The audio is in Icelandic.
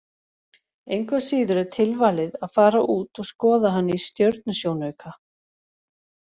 Engu að síður er tilvalið að fara út og skoða hann í stjörnusjónauka.